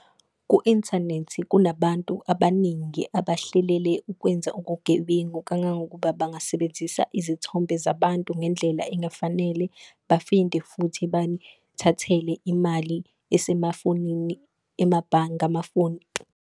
Ku-inthanethi kunabantu abaningi abahlelele ukwenza okugebengu, kangangokuba bangasebenzisa izithombe zabantu ngendlela engafanele. futhi banithathele imali esemafonini emabhange amafoni.